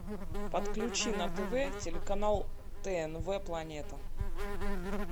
подключи на тв телеканал тнв планета